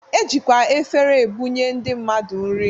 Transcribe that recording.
E jikwa efere ebunye ndị mmadụ nri